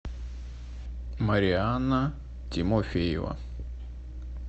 марианна тимофеева